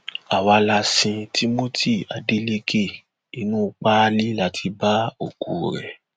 àwa la sin timothy adéléke inú páálí la ti bá òkú rẹ